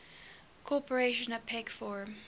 cooperation apec forum